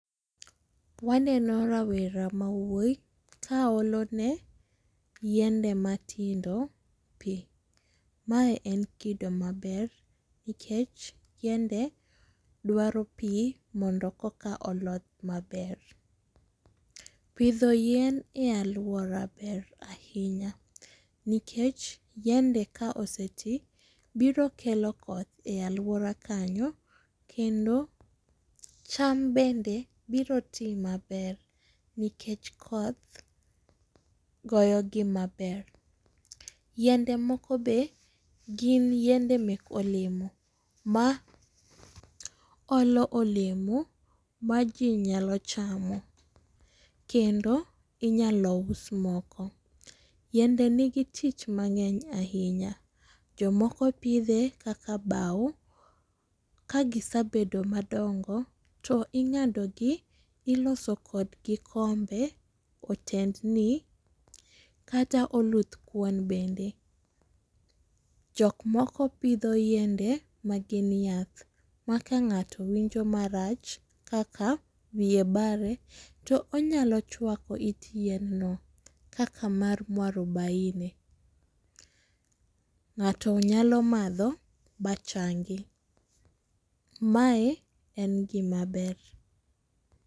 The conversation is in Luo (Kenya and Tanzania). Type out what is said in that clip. Waneno rawera ma wuoyi ka olo ne yiende ma tindo pi. Ma en kido ma ber nikech yiende dwaro pi mondo koka olodh ma ber. Pidho yien e aluora ber ainya nikech yiende ka oseti biro kelo koth e aluora kanyo kendo cham bende biro ti ma ber nikech koth goyo gi ma ber. Yiende moko be gin yiende mek olemo ma olo olemo ma ji nyalo chamo kendo inyalo us moko. Yiende ni gi tich mangeny ainya, jok moko pidhe kaka bawo ,ka gisebedo madongo to ingado gi iloso kod gi kombe oted ni kata oluth kuon bende. Jok moko pidho yiende ma gin yath ma ka ngato winjo ma rach kaka wiye bare to onya chwako it yien no kaka mar mwarubaini. Ngato nyalo madho ma changi. Ma en gi ma ber.